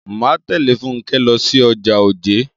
Máa tẹ̀lé Fúnkẹ́ lọ sí ọjà Ojé.